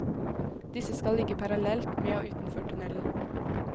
Disse skal ligge parallelt med og utenfor tunnelen.